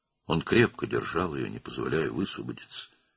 O, onu möhkəm tuturdu, azad olmasına icazə verməyərək.